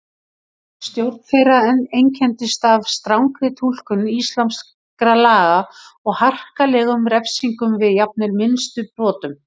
Stjórn þeirra einkenndist af strangri túlkun íslamskra laga og harkalegum refsingum við jafnvel minnstu brotum.